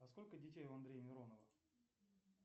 а сколько детей у андрея миронова